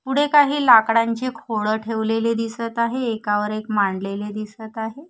पुढे काही लाकडांची खोडं ठेवलेली दिसत आहे एकावर एक मांडलेली दिसत आहे.